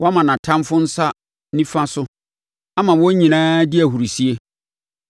Woama nʼatamfoɔ nsa nifa so; ama wɔn nyinaa di ahurisie.